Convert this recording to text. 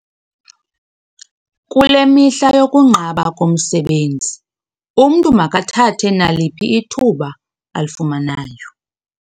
Kule mihla yokunqaba komsebenzi umntu makathathe naliphi ithuba alifumanayo.